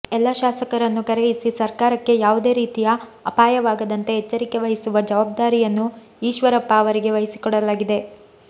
ಎಲ್ಲ ಶಾಸಕರನ್ನು ಕರೆಯಿಸಿ ಸರ್ಕಾರಕ್ಕೆ ಯಾವುದೇ ರೀತಿಯ ಅಪಾಯವಾಗದಂತೆ ಎಚ್ಚರಿಕೆ ವಹಿಸುವ ಜವಾಬ್ದಾರಿಯನ್ನು ಈಶ್ವರಪ್ಪ ಅವರಿಗೆ ವಹಿಸಿಕೊಡಲಾಗಿದೆ